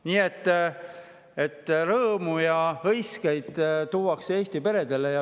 Nii et rõõmu ja hõiskeid tuuakse Eesti peredele.